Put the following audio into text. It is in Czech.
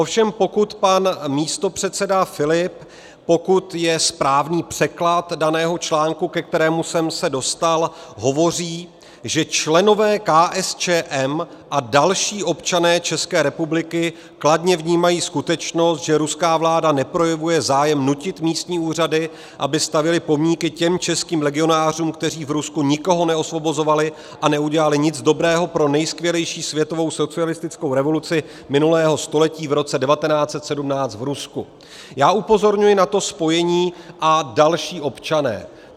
Ovšem pokud pan místopředseda Filip, pokud je správný překlad daného článku, ke kterému jsem se dostal, hovoří, že členové KSČM a další občané České republiky kladně vnímají skutečnost, že ruská vláda neprojevuje zájem nutit místní úřady, aby stavěly pomníky těm českým legionářům, kteří v Rusku nikoho neosvobozovali a neudělali nic dobrého pro nejskvělejší světovou socialistickou revoluci minulého století v roce 1917 v Rusku - já upozorňuji na to spojení "a další občané".